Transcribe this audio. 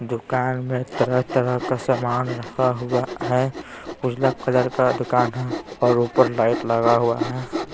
दुकान में तरह-तरह का सामान रखा हुआ हैं उजला कलर का दुकान हैं और ऊपर लाइट लगा हुआ हैं ।